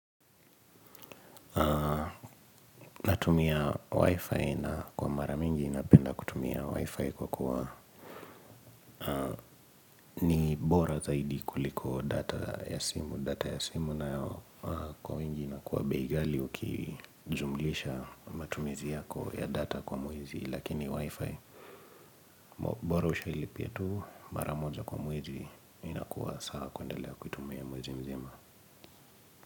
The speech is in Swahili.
Natumia WIFI na kwa mara mingi napenda kutumia WIFI kwa kuwa ni bora zaidi kuliko data ya simu data ya simu nayo kwa wengi inakuwa bei ghali ukijumlisha matumizi yako ya data kwa mwezi lakini Wi-Fi Bora ushailipia tu mara moja kwa mwezi. Inakuwa sawa kuendelea kuitumia mwezi mzima.